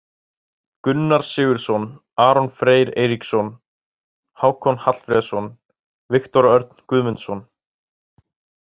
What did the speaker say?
Gunnar Sigurðsson, Aron Freyr Eiríksson, Hákon Hallfreðsson, Viktor Örn Guðmundsson.